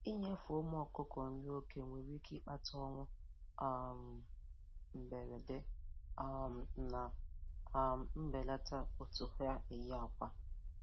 Inyefe ụmụ ọkụkọ nri oke nwere ike ịkpata ọnwụ um mberede um na um mbelata otu ha eyi akwa.